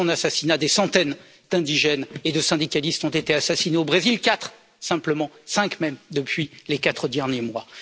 Depuis son assassinat, des centaines d'indigènes et de syndicalistes ont été assassinés au Brésil, quatre simplement, cinq même depuis les quatre derniers mois.